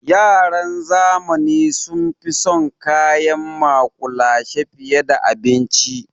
Yaran zamani sun fi son kayan maƙulashe fiye da abinci.